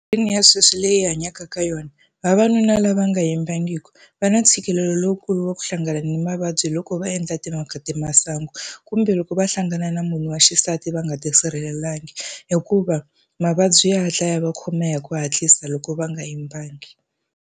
Ya sweswi leyi hi hanyaka ka yona, vavanuna lava nga yimbangiki va na ntshikelelo lowukulu wa ku hlangana ni mavabyi loko va endla timhaka ta masangu, kumbe loko va hlangana na munhu wa xisati va nga tisirhelelangi, hikuva mavabyi ya hatla ya va khoma hi ku hatlisa loko va nga yimbangi.